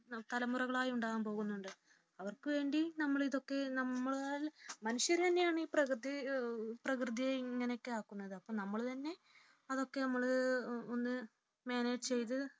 തലമുറകളായി ഉണ്ടാകാൻ പോകുന്നത് അവർക്കു വേണ്ടി നമ്മൾ ഇതൊക്കെ നമ്മളാൽ മനുഷ്യർ തന്നെ പ്രകൃതിയെ ഇങ്ങനെ ഒക്കെ ആക്കുന്നത് അപ്പോൾ നമ്മൾ തന്നെ അതൊക്കെ മാനേജ് ചെയ്തു